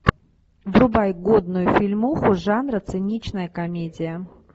врубай годную фильмуху жанра циничная комедия